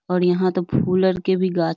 और यहाँ तो के भी गाछ --